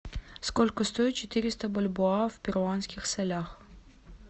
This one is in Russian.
сколько стоит четыреста бальбоа в перуанских солях